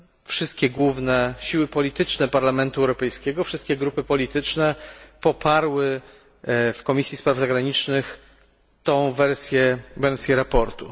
wszystkie główne siły polityczne Parlamentu Europejskiego, wszystkie grupy polityczne poparły w Komisji Spraw Zagranicznych tę wersję sprawozdania.